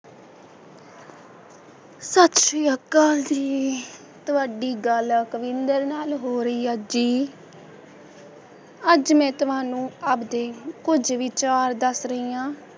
ਸਤਿ ਸ਼੍ਰੀ ਅਕਾਲ ਤੁਹਾਡੀ ਗੱਲ ਅਕਵਿੰਦਰ ਨਾਲ ਹੋ ਰਹੀ ਆ ਜੀ ਅੱਜ ਮੈ ਤੁਹਾਨੂੰ ਆਪ ਦੇ ਕੁੱਝ ਵਿਚਾਰ ਦੱਸ ਰਹੀ ਆਂ,